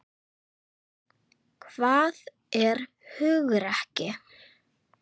Hvað er hugrekki?